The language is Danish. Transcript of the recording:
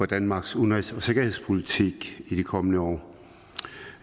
danmarks udenrigs og sikkerhedspolitik i de kommende år